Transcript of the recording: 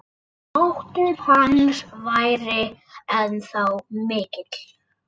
Máttur hans væri ennþá mikill.